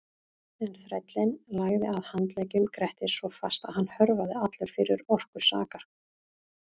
En þrællinn lagði að handleggjum Grettis svo fast að hann hörfaði allur fyrir orku sakar.